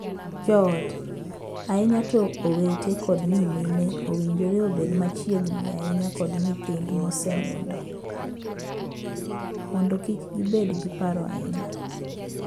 Joot, ahinya to owete kod nyimine owinjore obed machiegni ahinya kod nyithind mosenindo mondo kik gibed gi paro ahinya.